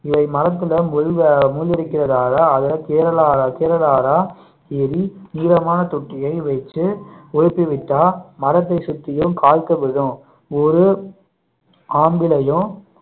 இதை மரத்தில முள் அஹ் முள் இருக்கிறதால அதை கீழாத கீழறாத ஏறி நீளமான தொட்டியை வச்சு உலுக்கி விட்டா மரத்தை சுத்தியும் காய்கள் விழும் ஒரு ஆம்பளையும்